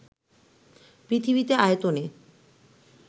পৃথিবীতে আয়তনে